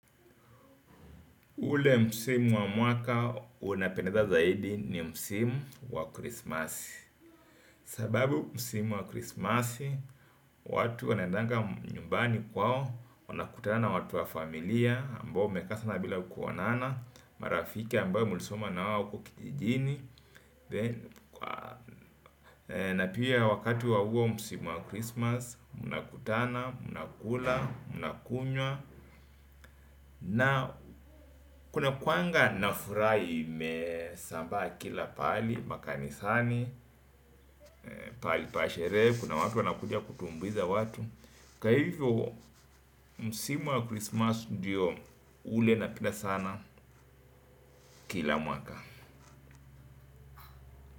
Ule msimu wa mwaka unapendeza zaidi ni msimu wa krismasi. Sababu msimu wa krismasi, watu wanaendanga nyumbani kwao, wanakutana na watu wa familia, ambao mekaa sana bila kuonana, marafiki ambao mulisoma na wao huko kitijini, na pia wakati wa uo msimu wa krismas, mnakutana, mnakula, mnakunywa, na kuna kuanga nafuraa imesambaa kila paali, makanisani, pali pasheree, kuna watu wanakuja kutumbuiza watu Kaivo, msimu wa christmas ndio ule napenda sana kila mwaka.